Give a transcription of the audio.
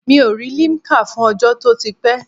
Mi ò rí limkà fún ọjọ́ to ti pé?